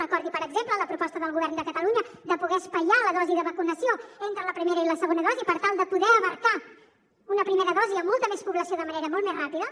recordi per exemple la proposta del govern de catalunya de poder espaiar la dosi de vacunació entre la primera i la segona dosi per tal de poder abastar una primera dosi a molta més població de manera molt més ràpida